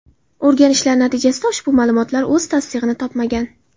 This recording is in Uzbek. O‘rganishlar natijasida ushbu ma’lumotlar o‘z tasdig‘ini topmagan.